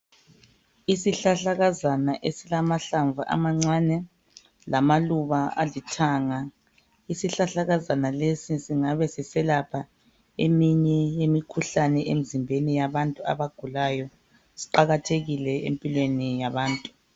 Isihlahlakazana esilamahlamvu amancane lamaluba alithanga. Isihlahlakazana lesi singaba siselapha eminye yemikhuhlane emzimbeni yabantu abagulayo siqakathekile empilweni yabantu.